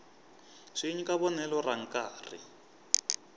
swi nyika vonelo ra nkarhi